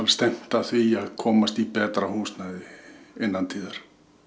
stefnt að því að komast í betra húsnæði innan tíðar